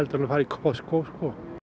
en að fara í Costco sko